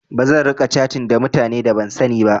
Bazan riƙa catin ta mutane da ban sani ba.